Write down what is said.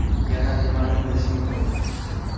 Yana nimani bilish muhim?